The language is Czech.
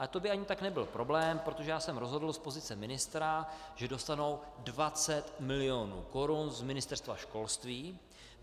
Ale to by ani tak nebyl problém, protože já jsem rozhodl z pozice ministra, že dostanou 20 mil. korun z Ministerstva školství.